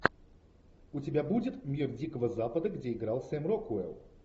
у тебя будет мир дикого запада где играл сэм рокуэлл